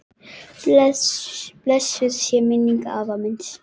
Blessuð sé minning afa míns.